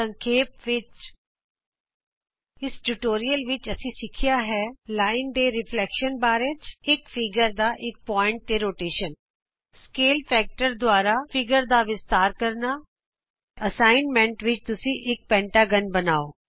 ਸੰਖੇਪ ਵਿਚ ਇਸ ਟਿਯੂਟੋਰਿਅਲ ਵਿਚ ਅਸੀਂ ਸਿੱਖਿਆ ਹੈ ਰੇਖਾ ਦੇ ਪ੍ਰਤਿਬਿੰਬ ਬਾਰੇ ਇਕ ਚਿੱਤਰ ਦਾ ਇਕ ਬਿੰਦੂ ਤੇ ਪਰਿਕਰਮਣ ਮਾਨ ਗੁਣਕ ਦੁਆਰਾ ਚਿੱਤਰ ਦਾ ਵਿਸਤਾਰ ਕਰਨਾ ਅਸਾਈਨਮੈਂਟ ਵਿਚ ਮੈਂ ਚਾਹਾਂਗੀ ਕਿ ਤੁਸੀਂ ਇਕ ਪੰਜਭੁਜ ਬਣਾਉ